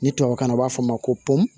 Ni tubabukan na u b'a fɔ a ma ko ponpu